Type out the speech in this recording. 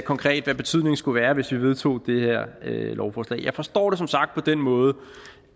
konkret hvad betydningen skulle være hvis vi vedtog det her lovforslag jeg forstår det som sagt på den måde